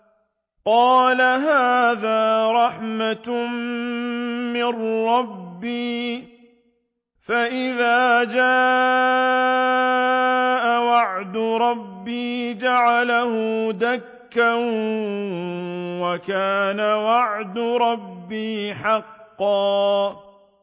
قَالَ هَٰذَا رَحْمَةٌ مِّن رَّبِّي ۖ فَإِذَا جَاءَ وَعْدُ رَبِّي جَعَلَهُ دَكَّاءَ ۖ وَكَانَ وَعْدُ رَبِّي حَقًّا